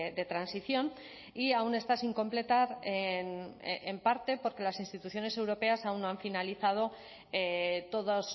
de transición y aún está sin completar en parte porque las instituciones europeas aún no han finalizado todos